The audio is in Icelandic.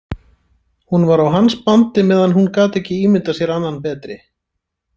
Hún var á hans bandi meðan hún gat ekki ímyndað sér annan betri.